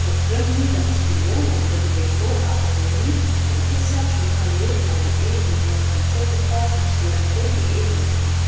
nokdringni jatchio rong·gindeko a·oni on·tisa chukale tarie uno tangsekgipa samsirangko ge·e donaha.